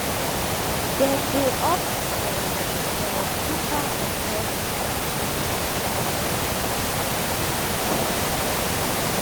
dem dey opt for for cheaper unhealthy options like junk food and processed snacks.